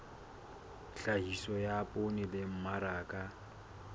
tlhahiso ya poone le mmaraka